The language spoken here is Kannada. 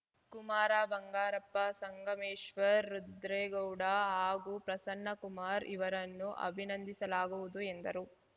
ಕುಮಾರ ಬಂಗಾರಪ್ಪ ಸಂಗಮೇಶ್ವರ್ ರುದ್ರೇಗೌಡ ಹಾಗೂ ಪ್ರಸನ್ನಕುಮಾರ್ ಇವರನ್ನು ಅಭಿನಂದಿಸಲಾಗುವುದು ಎಂದರು